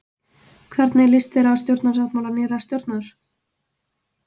Hvernig líst þér á stjórnarsáttmála nýrrar stjórnar?